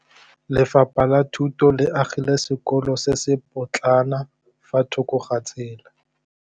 Lefapha la Thuto le agile sekôlô se se pôtlana fa thoko ga tsela.